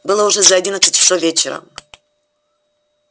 было уже за одиннадцать часов вечера